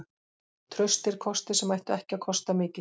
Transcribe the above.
Traustir kostir sem ættu ekki að kosta mikið.